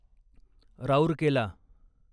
Rourkela